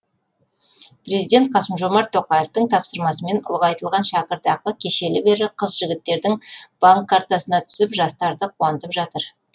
президент қасым жомарт тоқаевтың тапсырмасымен ұлғайтылған шәкіртақы кешелі бері қыз жігіттердің банк картасына түсіп жастарды қуантып жатыр